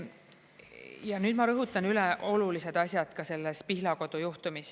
Ja nüüd ma rõhutan, üle olulised asjad ka selles Pihlakodu juhtumis.